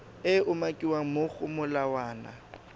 e umakiwang mo go molawana